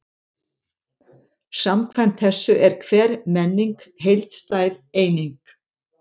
Samkvæmt þessu er hver menning heildstæð eining.